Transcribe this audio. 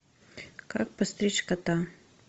как постричь кота